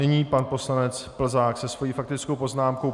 Nyní pan poslanec Plzák se svou faktickou poznámkou.